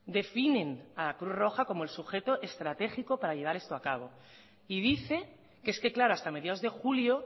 definen a cruz roja como el sujeto estratégico para llevar esto a cabo y dice que es que claro hasta mediados de julio